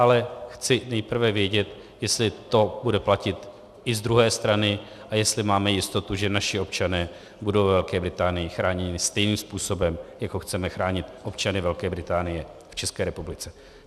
Ale chci nejprve vědět, jestli to bude platit i z druhé strany a jestli máme jistotu, že naši občané budou ve Velké Británii chráněni stejným způsobem, jako chceme chránit občany Velké Británie v České republice.